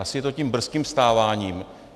Asi je to tím brzkým vstáváním.